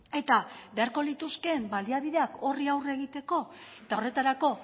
eta beharko lituzkeen baliabideak horri aurre egiteko eta horretarako